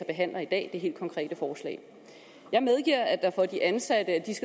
behandler i dag det helt konkrete forslag jeg medgiver at de ansatte